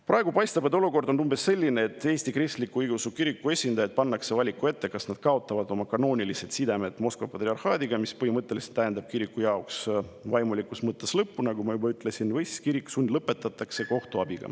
Praegu paistab olukord umbes sellisena, et Eesti Kristliku Õigeusu Kiriku esindajad pannakse valiku ette, kas nad kaotavad oma kanoonilised sidemed Moskva patriarhaadiga, mis põhimõtteliselt tähendab kiriku jaoks vaimulikus mõttes lõppu, nagu ma juba ütlesin, või kirik sundlõpetatakse kohtu abil.